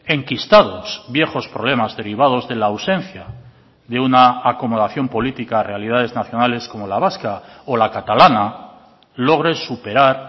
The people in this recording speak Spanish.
enquistados viejos problemas derivados de la ausencia de una acomodación política a realidades nacionales como la vasca o la catalana logre superar